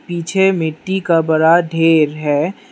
पीछे मिट्टी का बड़ा ढेर है।